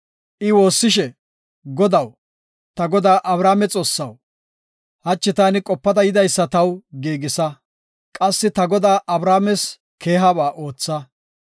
I woossishe, “Godaw, ta godaa Abrahaame Xoossaw, hachi taani qopada yidaysa taw giigisa; qassi ta godaa Abrahaames keehaba ootha.